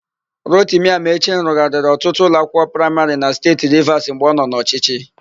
Rotimi Amaechi rụgharịrị ọtụtụ ụlọakwụkwọ praịmarị na Steeti Rivas mgbe ọ nọ n'ọchịchị.